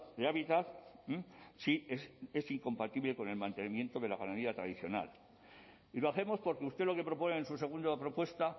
de hábitat si es incompatible con el mantenimiento de la ganadería tradicional y lo hacemos porque usted lo que propone en su segunda propuesta